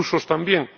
Los rusos, también.